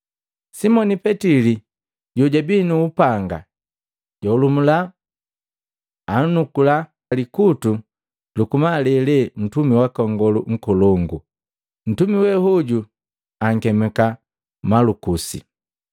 Simoni Petili jojabii nu upanga, jaholumula, anunkula likutu luku malele ntumi waka Nngolu Nkolongu. Ntumi we hoju ankemika Malukusi.